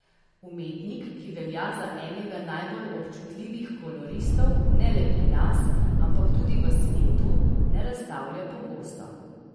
Umetnik, ki velja za enega najbolj občutljivih koloristov ne le pri nas, ampak tudi v svetu, ne razstavlja pogosto.